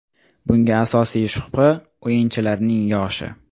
Bunga asosiy shubha – o‘yinchilarning yoshi.